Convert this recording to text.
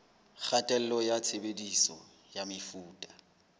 kgatello ya tshebediso ya mefuta